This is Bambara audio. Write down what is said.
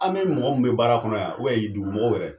An be mɔgɔ mun be baara kɔnɔ yan ubɛn dugu mɔgɔw wɛrɛ